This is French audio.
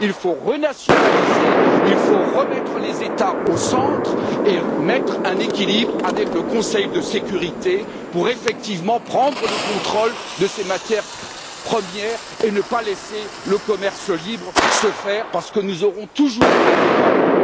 Il faut renationaliser, il faut remettre les États au centre et mettre un équilibre avec le Conseil de sécurité pour prendre effectivement le contrôle de ces matières premières et ne pas laisser le commerce libre se faire parce que nous aurons toujours un dévoiement.